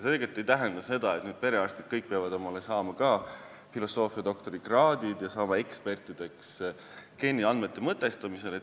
See ei tähenda ilmselgelt seda, et nüüd peavad perearstid kõik tegema ka filosoofiadoktori kraadi ja saama ekspertideks geeniandmete mõtestamisel.